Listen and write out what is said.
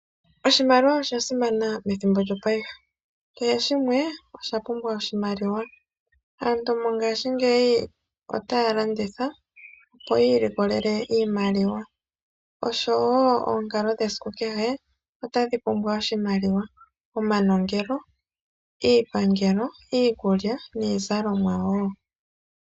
Oshimaliwa osha simana methimbo lyongashingeyi kehe shimwe osha pumbwa oshimaliwa. Aantu mongashingeyi otaya landitha opo yi ilikolele iimaliwa oshowo onkalo dhe esiku kehe otadhi pumbwa oshimaliwa ngaashi omanongelo, iipangelo, iikulya niizalomwa wo.